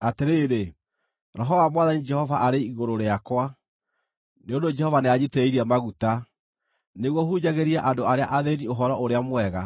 Atĩrĩrĩ, Roho wa Mwathani Jehova arĩ igũrũ rĩakwa, nĩ ũndũ Jehova nĩanjitĩrĩirie maguta, nĩguo hunjagĩrie andũ arĩa athĩĩni ũhoro-ũrĩa-mwega.